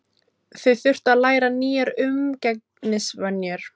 Þau þurftu að læra nýjar umgengnisvenjur.